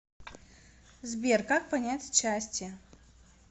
сбер как понять счастье